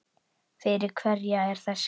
Fyrir hverja er þessi hátíð?